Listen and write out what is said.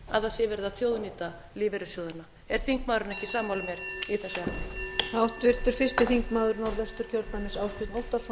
að það sé verið að þjóðnýta lífeyrissjóðina er þingmaðurinn ekki sammála mér í þessu efni